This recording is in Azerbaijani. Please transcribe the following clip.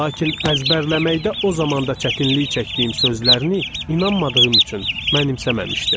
Lakin əzbərləməkdə o zamanda çətinlik çəkdiyim sözlərini inanmadığım üçün mənimsəməmişdim.